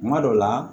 Kuma dɔ la